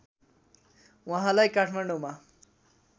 उहाँलाई काठमाडौँमा